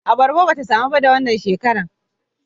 Abarba ba ta samar da wannan shekara ba